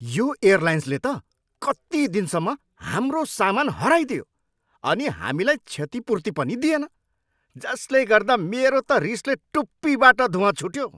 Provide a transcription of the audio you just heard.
यो एयरलाइन्सले त कति दिनसम्म हाम्रो सामान हराइदियो अनि हामीलाई क्षतिपूर्ति पनि दिएन जसले गर्दा मेरो त रिसले टुप्पीबाट धुँवा छुट्यो।